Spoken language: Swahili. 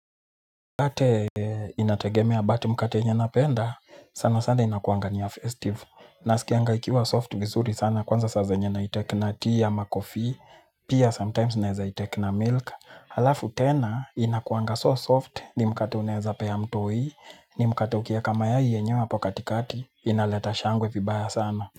Mkate inategemea but mkate yenye napenda, sana sana inakuanga niya festive. Na sikianga ikiwa soft vizuri sana, kwanza saa zenye na itake na tea ama kofi, pia sometimes naeza itake na milk. Halafu tena, inakuanga so soft, ni mkate uneza peya mtoi, ni mkate ukieka mayai yenyeo hapo katikati, inaleta shangwe vibaya sana.